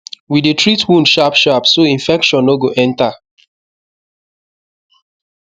we dey treat wound sharpsharp so infection no go enter